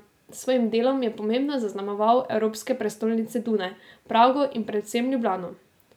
S svojim delom je pomembno zaznamoval evropske prestolnice Dunaj, Prago in predvsem Ljubljano.